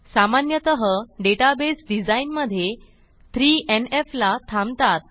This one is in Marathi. सामान्यतः डेटाबेस डिझाईनमधे 3एनएफ ला थांबतात